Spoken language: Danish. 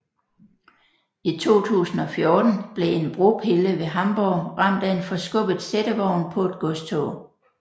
I 2014 blev en bropille ved Hamborg ramt af en forskubbet sættevogn på et godstog